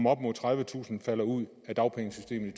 at op mod tredivetusind falder ud af dagpengesystemet i